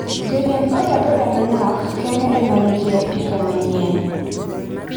Joriemb boda boda manok kende ema nigi apiko manyien.